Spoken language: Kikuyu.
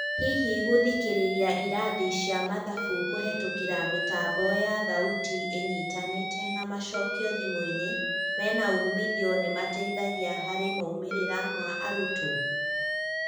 Hihi gũthikĩrĩria ĩrathi cia mathabu kũhetũkĩra mĩtambo ya thauti ĩnyitanĩte na macokĩo thimũinĩ menaumithio nĩmateithagia harĩ moimĩrĩra ma arutwo?